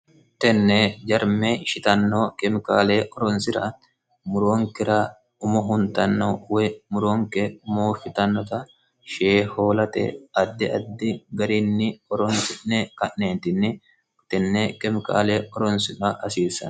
tenne jarme shitanno kemikaale oronsira muroonkira umo huntanno woy muroonke moo fitannota shee hoolate addi addi gariinni oronsi'ne ka'neetinni utenne kemikaale oronsira hasiissan